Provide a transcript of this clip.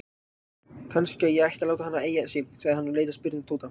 Kannski ég ætti að láta hana eiga sig? sagði hann og leit spyrjandi á Tóta.